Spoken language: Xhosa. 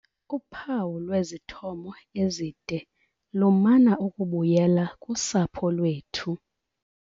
Uphawu lwwezithomo ezide lumana ukubuyelela kusapho lwethu.